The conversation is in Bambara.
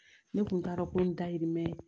Ne tun t'a dɔn ko in dahirimɛ